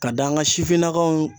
Ka da an ka sifinnakaw